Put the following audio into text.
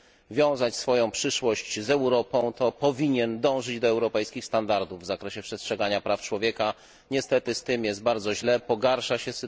wiązać swoją przyszłość z Europą, to powinien dążyć do europejskich standardów w zakresie przestrzegania praw człowieka. Niestety z tym jest bardzo źle i sytuacja pogarsza się.